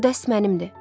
Bu dəst mənimdir.